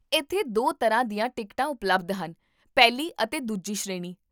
ਇੱਥੇ ਦੋ ਤਰ੍ਹਾਂ ਦੀਆਂ ਟਿਕਟਾਂ ਉਪਲਬਧ ਹਨ, ਪਹਿਲੀ ਅਤੇ ਦੂਜੀ ਸ਼੍ਰੇਣੀ